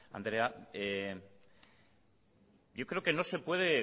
andrea yo creo que no se puede